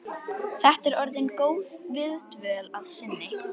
Þetta er orðin góð viðdvöl að sinni.